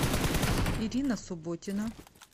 ирина субботина